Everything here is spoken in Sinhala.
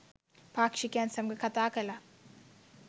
පාක්‌ෂිකයන් සමඟ කතා කළා